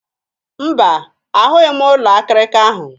Mba, ahụghị m ụlọ akịrịka ahụ.